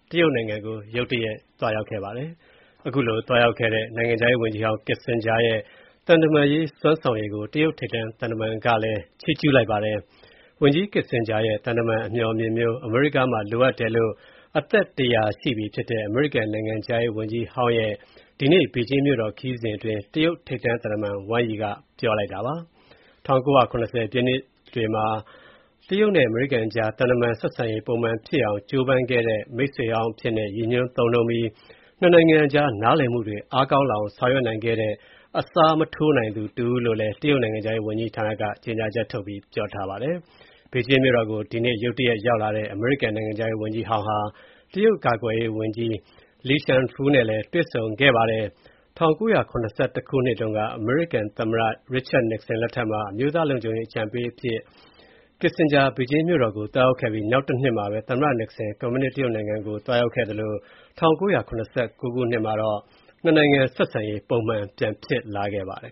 တရုတ်နိုင်ငံကို ရုတ်တရက် သွားရောက်ခဲ့တဲ့ အမေရိကန် နိုင်ငံခြားရေးဝန်ကြီးဟောင်း Henry Kissinger ရဲ့ သံတမန်ရေး စွမ်းဆောင်ရည်ကို တရုတ်ထိပ်တန်းသံတမန်က ချီးကျုးလိုက်ပါတယ်။ Kissinger ရဲ့ သံတမန်အမျှော်အမြင်မျိုး အမေရိကန်မှာ လိုအပ်တယ်လို့ အသက် ၁၀၀ ရှိပြီဖြစ်တဲ့ အမေရိကန်နိုင်ငံခြားရေးဝန်ကြီးဟောင်းရဲ့ ဒီကနေ့ ဘေဂျင်းမြို့တော် ခရီးစဉ်အတွင်း တရုတ်ထိပ်တန်းသံတမန် Wang Yi က ပြောလိုက်တာပါ။ ၁၉၇၀ ပြည့်လွန်နှစ်တွေမှာ တရုတ်နဲ့ အမေရိကန်ကြား သံတမန်ဆက်ဆံရေး ပုံမှန်ပြန်ဖြစ်အောင် ကြိုးပမ်းခဲ့တဲ့ မိတ်ဆွေဟောင်းအဖြစ်နဲ့ ရည်ညွှန်းသုံးနှုန်းပြီး၊ ၂ နိုင်ငံကြား နားလည်မှုတွေ အားကောင်းလာအောင် ဆောင်ရွက်နိုင်ခဲ့တဲ့ အစားမထိုးနိုင်သူ တဦးလို့လည်း တရုတ်နိုင်ငံခြားရေးဝန်ကြီးဌာနက ထုတ်ပြန်တဲ့ ကြေညာချက်မှာ ပြောဆိုထားပါတယ်။ ဘေဂျင်းမြို့တော်ကို ဒီကနေ့ ရုတ်တရက် ရောက်လာတဲ့ အမေရိကန်နိုင်ငံခြားရေးဝန်ကြီးဟောင်းဟာ တရုတ်ကာကွယ်ရေးဝန်ကြီး Li Shangfu နဲ့လည်း တွေ့ဆုံခဲ့တာပါ။ ၁၉၇၁ ခုနှစ်တုန်းက သမ္မတ Richard Nixon လက်ထက်မှာ အမျိုးသားလုံခြုံရေး အကြံပေးအရာရှိအဖြစ် Kissinger ဘေဂျင်းမြို့တော်ကို သွားရောက်ခဲ့ပြီး နောက်တနှစ်မှာပဲ သမ္မတ Nixon ကွန်မြူနစ်တရုတ်နိုင်ငံကို သွားရောက်ခဲ့သလို၊ ၁၉၇၉ ခုနှစ်မှာတော့ ၂ နိုင်ငံ ဆက်ဆံရေး ပုံမှန်ပြန်ဖြစ်လာခဲ့ပါတယ်